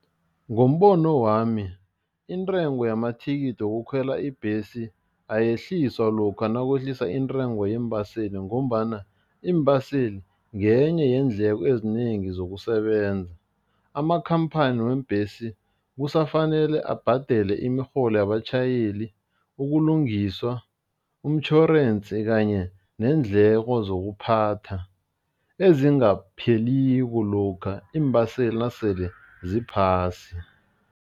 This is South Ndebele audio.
Ngombono wami, intengo yamathikithi wokukhwela ibhesi ayehliswa lokha nakwehlisa intengo yeembaseli ngombana iimbaseli ngenye yeendlela ezinengi zokusebenza. Amakhamphani weembhesi kusafanele abhadele imirholo yabatjhayeli, ukulungiswa, umtjhorensi kanye neendleko zokuphatha ezingapheliko lokha iimbaseli nasele ziphasi.